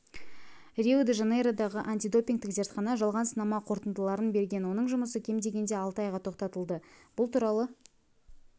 рио-де-жанейродағы антидопингтік зертхана жалған сынама қортындыларын берген оның жұмысы кем дегенде алты айға тоқтатылды бұл туралы